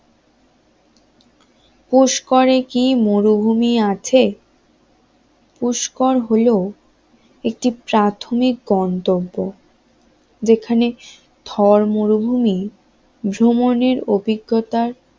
পুষ্করে কি মরুভূমি আছে? পুষ্কর হলো একটি প্রাথমিক গন্তব্য যেখানে থর মরুভূমি ভ্রমণের অভিজ্ঞতার